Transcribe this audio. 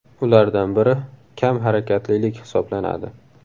Ulardan biri kam harakatlilik hisoblanadi.